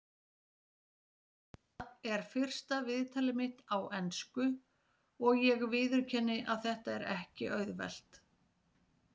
Þetta er fyrsta viðtalið mitt á ensku og ég viðurkenni að þetta er ekki auðvelt.